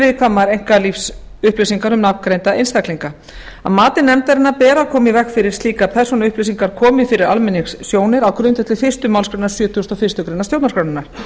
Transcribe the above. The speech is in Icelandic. viðkvæmar einkalífsupplýsingar um nafngreinda einstaklinga að mati nefndarinnar ber að koma í veg fyrir að slíkar persónuupplýsingar komi fyrir almenningssjónir á grundvelli fyrstu málsgrein sjötugustu og fyrstu grein stjórnarskrárinnar